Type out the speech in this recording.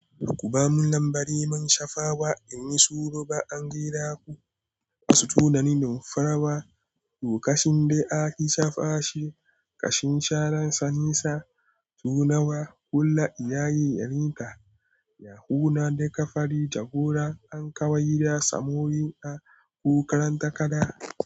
Ku ba mu lambari man shafawa in yi sulhu ba an gera ku. Wasu tunanin farawa lokacin da aka sha face kashin sharan Sanisa tunawa hulla iyaye yarinta. Yahuna da kafari jagora an kawai rasa mori a kokarin takada.